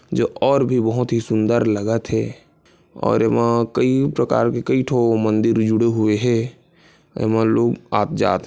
जो और भी बहुत सुंदर लगत थे और एमा कई प्रकार के कई ठो मंदिर जुड़े हुए है अउ एमा लोग आप जात थे।